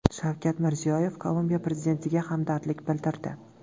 Shavkat Mirziyoyev Kolumbiya prezidentiga hamdardlik bildirdi.